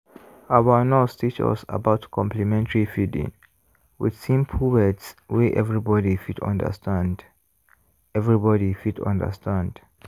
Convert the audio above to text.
our nurse teach us about complementary feeding with simple words wey everybody fit understand. everybody fit understand.